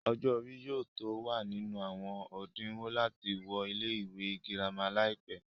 ọjọ́ orí yóò tó wà nínú àwọn òdinwọ̀n láti wọ ilé ìwé girama láìpẹ́